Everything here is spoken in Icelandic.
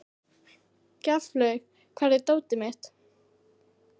Gjaflaug, hvar er dótið mitt?